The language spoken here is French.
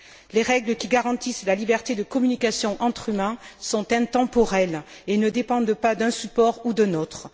Les règles qui garantissent la liberté de communication entre humains sont intemporelles et ne dépendent pas d'un support ou d'un autre.